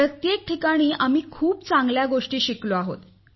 प्रत्येक ठिकाणी आम्ही खूप चांगल्या गोष्टी शिकलो आहोत